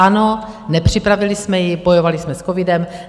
Ano, nepřipravili jsme ji, bojovali jsme s covidem.